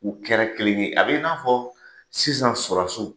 U kɛra kelen ye. A b'i n'a fɔ sisan